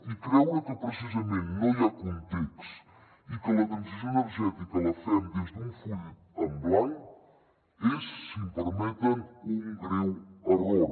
i creure que precisament no hi ha context i que la transició energètica la fem des d’un full en blanc és si em permeten un greu error